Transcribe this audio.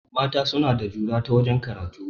Mata suna da jura ta wajen karatu